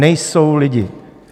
Nejsou lidi.